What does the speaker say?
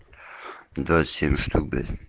двадцать семь штук